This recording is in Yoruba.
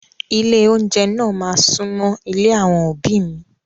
Ilé oúnjẹ náà máa súnmọ́ ilé àwọn òbí mi.